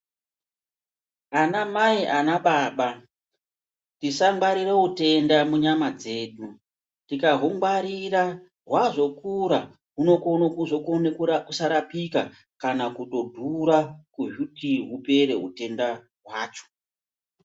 Anamai ana baba tisangwarira utenda munyama dzedu. Tikahungwarira hwazokura hunokone kuzokona kusarapika kana kutodhura kuhuti hupere hutenda hwacho.